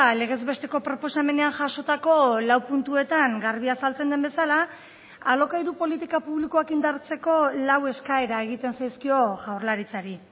legez besteko proposamenean jasotako lau puntuetan garbi azaltzen den bezala alokairu politika publikoak indartzeko lau eskaera egiten zaizkio jaurlaritzari